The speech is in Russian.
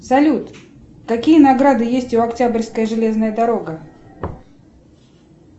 салют какие награды есть у октябрьская железная дорога